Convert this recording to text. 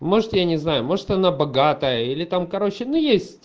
может я не знаю может она богатая или там короче ну есть